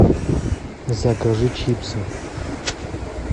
закажи чипсы